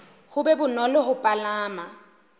ho be bonolo ho palama